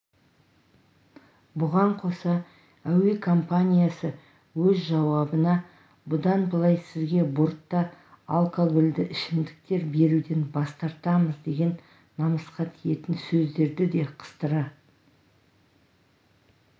бұған қоса әуе компаниясы өз жауабына бұдан былай сізге бортта алкоголді ішімдіктер беруден бас тартамыз деген намысқа тиетін сөздерді де қыстыра